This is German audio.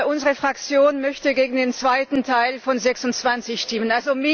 Unsere Fraktion möchte gegen den zweiten Teil von Ziffer 26 stimmen.